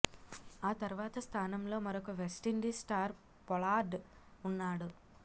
ఆ తర్వాత స్థానంలో మరొక వెస్టిండీస్ స్టార్ పొలార్డ్ ఉన్నాడు